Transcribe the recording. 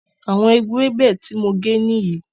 Àwọn ewebẹ̀ tí mo gé nìyí